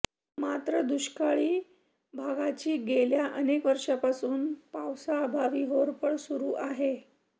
मात्र दुष्काळी भागाची गेल्या अनेक वर्षांपासून पावसाअभावी होरपळ सुरू आहे